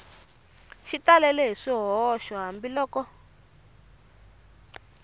xi talele hi swihoxo hambiloko